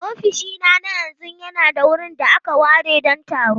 Ofishina na yanzu yana da wurin da aka ware don taro.